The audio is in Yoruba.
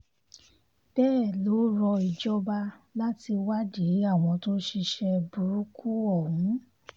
bẹ́ẹ̀ ló rọ ìjọba láti wádìí àwọn tó ṣiṣẹ́ burúkú ọ̀hún